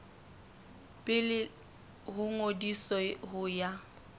pele ho ngodiso ho ya